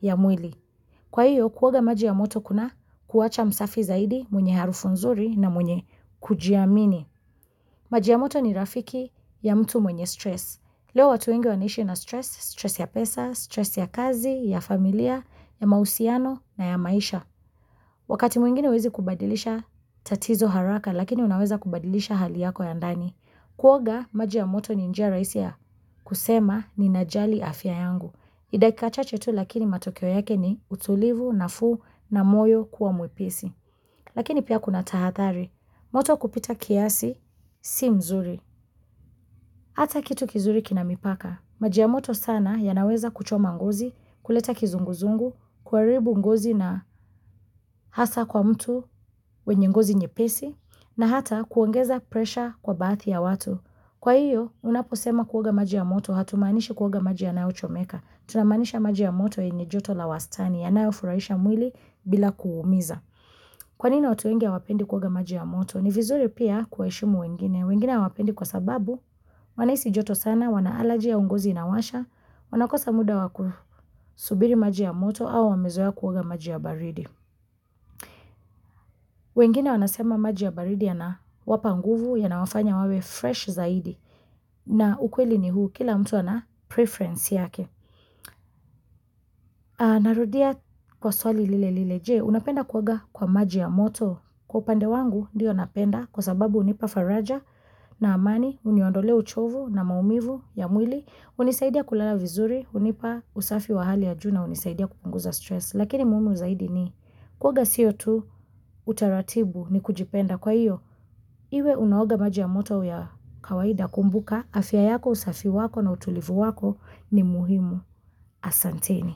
ya mwili. Kwa hiyo, kuoga maji ya moto kuna kuacha msafi zaidi mwenye harufu nzuri na mwenye kujiamini. Maji ya moto ni rafiki ya mtu mwenye stress. Leo watu wengi wanaishi na stress, stress ya pesa, stress ya kazi, ya familia, ya mahusiano na ya maisha. Wakati mwingine uwezi kubadilisha tatizo haraka lakini unaweza kubadilisha hali yako ya ndani. Kuoga maji ya moto ni njia rahisia kusema ni najali afya yangu. Ni dakika chache tu lakini matokeo yake ni utulivu na fuu na moyo kuwa mwepesi. Lakini pia kuna tahathari. Moto kupita kiasi si mzuri. Hata kitu kizuri kinamipaka. Maji ya moto sana yanaweza kuchoma ngozi, kuleta kizunguzungu, kuharibu ngozi na hasa kwa mtu wenye ngozi nyepesi, na hata kuongeza presha kwa baathi ya watu. Kwa hiyo, unaposema kuoga maji ya moto, hatumaanishi kuoga maji yanayo chomeka. Tunamanisha maji ya moto yenye joto la wastani ya nayofurahisha mwili bila kuumiza Kwa nini watu wengi ha wapendi kuoga maji ya moto? Ni vizuri pia kuheshimu wengine wengine ha wapendi kwa sababu wanahisi joto sana, wanaalaji au ngozi inawasha Wanakosa muda wakusubiri maji ya moto au wamezoea kuoga maji ya baridi wengine wanasema maji ya baridi ya na wapa nguvu ya na wafanya wawe fresh zaidi na ukweli ni huu kila mtu anapreference yake na rudia kwa swali lile lile je, unapenda kuoga kwa maji ya moto Kwa upande wangu ndiyo napenda kwa sababu unipa faraja na amani Uniondolea uchovu na maumivu ya mwili unisaidia kulala vizuri, unipa usafi wa hali ya juu na, unisaidia kupunguza stress Lakini muhimu zaidi ni kuoga siyo tu utaratibu ni kujipenda kwa iyo Iwe unaoga maji ya moto ya kawaida kumbuka afya yako usafi wako na utulivu wako ni muhimu asanteni.